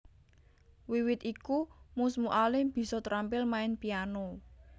Wiwit iku Mus Mualim bisa trampil main piano